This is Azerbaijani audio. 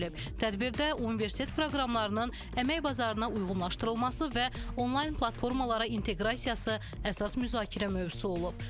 Tədbirdə universitet proqramlarının əmək bazarına uyğunlaşdırılması və onlayn platformalara inteqrasiyası əsas müzakirə mövzusu olub.